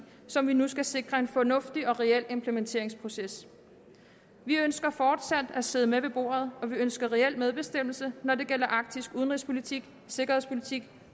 som vi nu skal sikre en fornuftig og reel implementeringsproces vi ønsker fortsat at sidde med ved bordet og vi ønsker reel medbestemmelse når det gælder arktisk udenrigspolitik sikkerhedspolitik